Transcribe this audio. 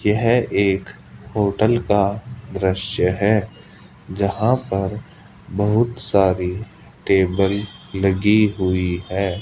यह एक होटल का दृश्य है जहां पर बहुत सारी टेबल लगी हुई है।